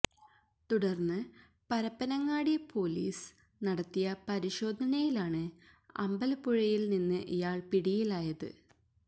തുടർന്ന് പരപ്പനങ്ങാടി പോലിസ് നടത്തിയ പരിശോധനയിലാണ് അമ്പലപ്പുഴയിൽ നിന്ന് ഇയാൾ പിടിയിലായത്